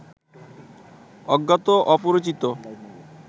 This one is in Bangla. অজ্ঞাত অপরিচিত